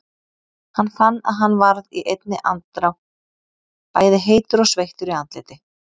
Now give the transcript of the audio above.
Hann fann að hann varð í einni andrá bæði heitur og sveittur í andliti.